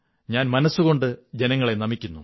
ഞാൻ മനസ്സുകൊണ്ട് ജനങ്ങളെ നമിക്കുന്നു